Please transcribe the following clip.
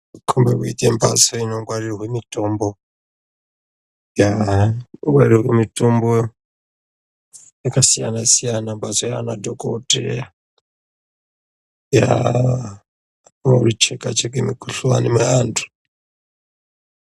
Inokhombo kuite mhatso inongwarirwe mitombo, mitombo yakasiyana siya inoshandiswa ngemadhokodheya yaaa veicheka cheka mukhuhlani yeantu.